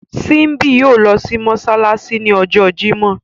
Símbíàtì yóò lọ sí Mossalasi ní ọjọ́ Jímọ̀.